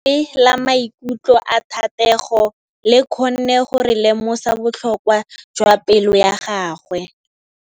Lentswe la maikutlo a Thategô le kgonne gore re lemosa botlhoko jwa pelô ya gagwe.